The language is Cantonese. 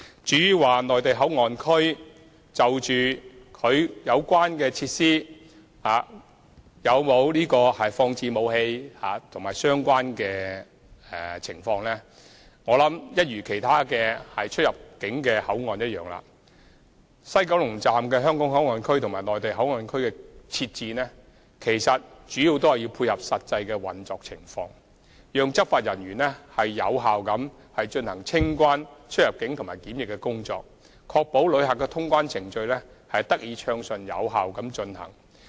至於"內地口岸區"有否放置武器的相關設施及有關情況，我相信一如其他出入境口岸，西九龍站的"香港口岸區"和"內地口岸區"的設置，主要是為了配合實際運作情況，讓執法人員能有效地進行清關、出入境和檢疫工作，確保旅客的通關程序得以暢順有效地進行。